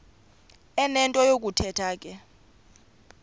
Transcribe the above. enento yokuthetha ke